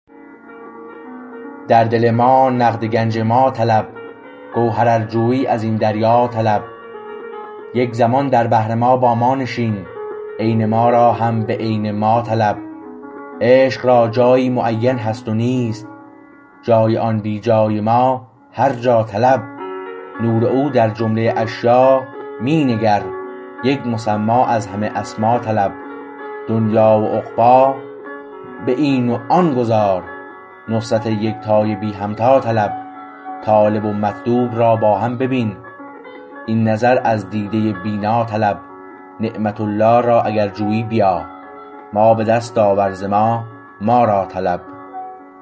در دل ما نقد گنج ما طلب گوهر ار جویی از این دریا طلب یک زمان در بحر ما با ما نشین عین ما را هم به عین ما طلب عشق را جایی معین هست نیست جای آن بی جای ما هر جا طلب نور او در جمله اشیا می نگر یک مسمی از همه اسما طلب دنیی و عقبی به این و آن گذار نصرت یکتای بی همتا طلب طالب و مطلوب را با هم ببین این نظر از دیده بینا طلب نعمت الله را اگر جویی بیا ما به دست آور ز ما ما را طلب